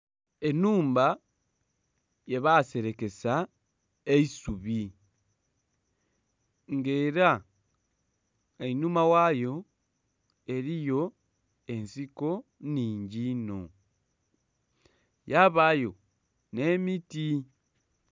Enhumba gye baserekesa eisubi nga era einhuma ghayo eriyo ensiko nnhingi inho yabayo ne'miti.